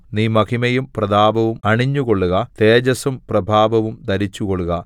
നീ മഹിമയും പ്രതാപവും അണിഞ്ഞുകൊള്ളുക തേജസ്സും പ്രഭാവവും ധരിച്ചുകൊള്ളുക